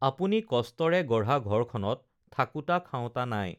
আপুনি কষ্টৰে গঢ়া ঘৰখনত থাকোতা খাওতা নাই